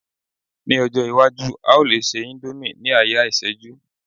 ní ọjọ iwaju, a o le se indomie ni aya iseju